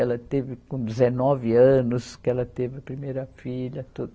Ela teve com dezenove anos que ela teve a primeira filha, tudo.